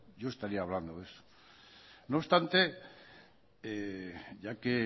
yo estaría hablando de eso no obstante ya que